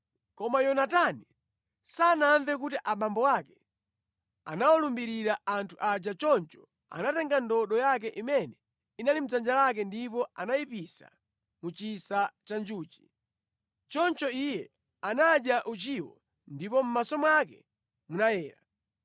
Koma Yonatani sanamve kuti abambo ake anawalumbirira anthu aja choncho anatenga ndodo yake imene inali mʼdzanja lake ndipo anayipisa mu chisa cha njuchi. Choncho iye anadya uchiwo ndipo mʼmaso mwake munayera.